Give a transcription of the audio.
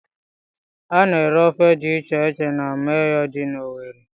Ana-ere ofe dị iche iche na Manyuu dị n'Owerre.